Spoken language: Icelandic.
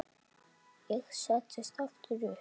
Ég settist aftur upp.